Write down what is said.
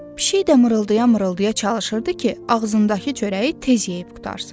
Pişik də mırıldaya-mırıldaya çalışırdı ki, ağzındakı çörəyi tez yeyib qurtarsın.